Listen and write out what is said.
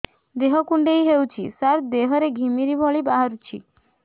ଦେହ କୁଣ୍ଡେଇ ହେଉଛି ସାରା ଦେହ ରେ ଘିମିରି ଭଳି ବାହାରୁଛି